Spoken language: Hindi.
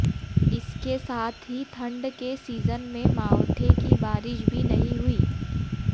इसके साथ ही ठंड के सीजन में मावठे की बारिश भी नहीं हुई